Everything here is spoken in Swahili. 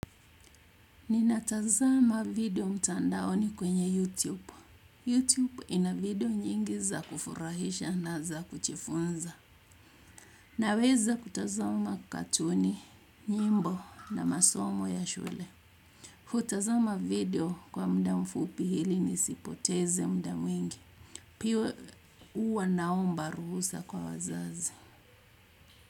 Ninatazama video mtandaoni kwenye YouTube. YouTube ina video nyingi za kufurahisha na za kujifunza. Naweza kutazama katuni, nyimbo na masomo ya shule. Hutazama video kwa muda mfupi hili nisipoteze muda mwingi. Piyo uwa naomba ruhusa kwa wazazi.